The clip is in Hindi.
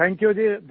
thank you ji